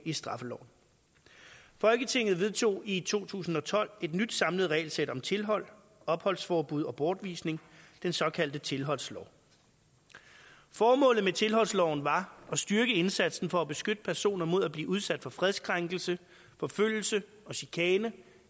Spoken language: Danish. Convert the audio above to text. i straffeloven folketinget vedtog i to tusind og tolv et nyt samlet regelsæt om tilhold opholdsforbud og bortvisning den såkaldte tilholdslov formålet med tilholdsloven var at styrke indsatsen for at beskytte personer mod at blive udsat for fredskrænkelse forfølgelse og chikane